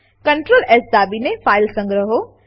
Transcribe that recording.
Ctrl S દાબીને file સંગ્રહો